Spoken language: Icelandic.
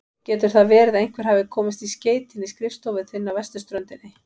Getur það verið að einhver hafi komist í skeytin í skrifstofu þinni á vesturströndinni?